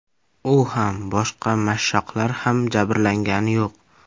U ham, boshqa mashshoqlar ham jabrlangani yo‘q.